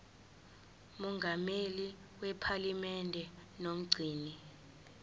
mongameli wephalamende nomgcini